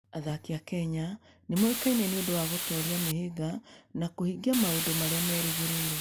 Athaki a Kenya nĩ moĩkaine nĩ ũndũ wa gũtooria mĩhĩnga na kũhingia maũndũ marĩa merĩgĩrĩirũo.